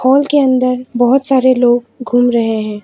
Hall के अंदर बहुत सारे लोग घूम रहे है।